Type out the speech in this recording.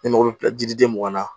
Ne mago bɛ jiriden mun ŋanna